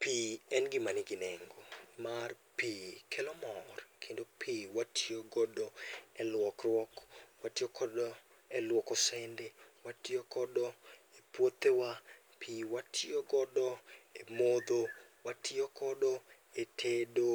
Pi en gima nigi nengo, nimar pi kelo mor kendo pi watiyo godo e luokruok, watiyo godo eluoko sende, watiyo godo epuothewa, pi watiyo godo e modho, watiyo godo e tedo,